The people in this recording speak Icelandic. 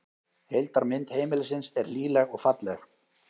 Heildarmynd heimilisins er hlýleg og falleg